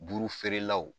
Burufeerelaw